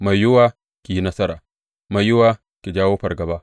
Mai yiwuwa ki yi nasara, mai yiwuwa ki jawo fargaba.